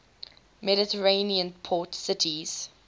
mediterranean port cities